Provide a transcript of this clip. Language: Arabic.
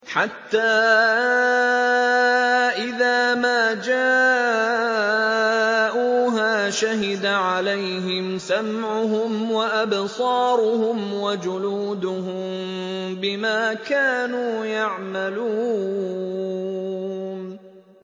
حَتَّىٰ إِذَا مَا جَاءُوهَا شَهِدَ عَلَيْهِمْ سَمْعُهُمْ وَأَبْصَارُهُمْ وَجُلُودُهُم بِمَا كَانُوا يَعْمَلُونَ